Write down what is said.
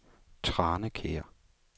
Tranekær